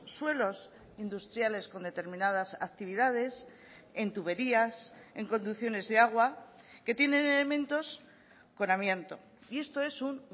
suelos industriales con determinadas actividades en tuberías en conducciones de agua que tienen elementos con amianto y esto es un